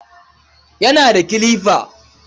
Yana da kilifa.